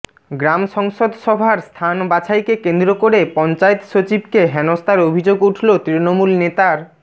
গ্রাম সংসদ সভার স্থান বাছাইকে কেন্দ্র করে পঞ্চায়েত সচিবকে হেনস্থার অভিযোগ উঠল তৃণমূল নেতার